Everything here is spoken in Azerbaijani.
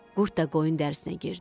Qurd da qoyun dərisinə girdi.